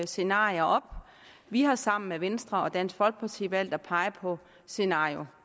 scenarier op vi har sammen med venstre og dansk folkeparti valgt at pege på scenario